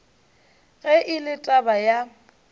ge e le taba ya